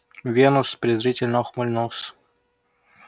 венус презрительно ухмыльнулся